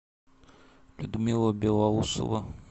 людмила белоусова